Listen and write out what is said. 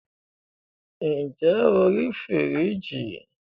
ǹjẹ́ o rí fìríìjì?